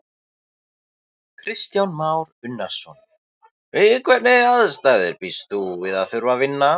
Kristján Már Unnarson: Við hvernig aðstæður býst þú við að þurfa að vinna?